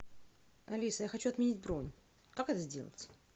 алиса я хочу отменить бронь как это сделать